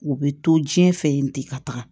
U bɛ to diɲɛ fɛ yen ten ka taga